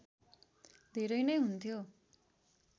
धेरै नै हुन्थ्यो